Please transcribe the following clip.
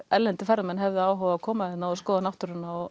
erlendir ferðamenn hefðu áhuga að koma hingað og skoða náttúruna og